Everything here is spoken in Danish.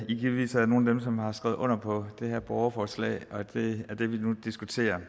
i givetvis er nogle af dem som har skrevet under på det her borgerforslag og det er det vi nu diskuterer